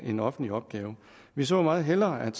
en offentlig opgave vi så meget hellere at